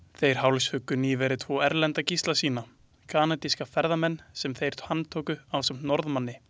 Þeir hálshjuggu nýverið tvo erlenda gísla sína, kanadíska ferðamenn sem þeir handtóku ásamt Norðmanninum.